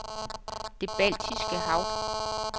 Det Baltiske Hav